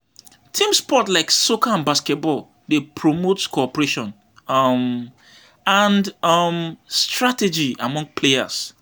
Team sports like soccer and basketball dey promote cooperation um and um strategy among players.